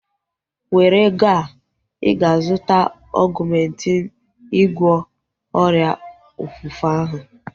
Were ego a! Ịga azụta Ọgumentin ịgwọ ọrịa ofufe ahu